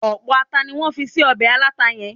ọpọlọpọ ata ni wan fi sí obe alata yen